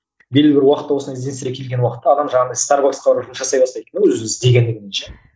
белгілі бір уақытта осындай ізденістерге келген уақытта адам жаңағындай старбаксқа барып жұмыс жасай бастайды өзін өзін іздегендігінен ше